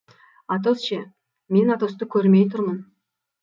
атос ше мен атосты көрмей тұрмын